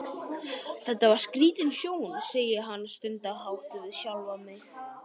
Þetta var skrítin sjón, segi ég stundarhátt við sjálfa mig.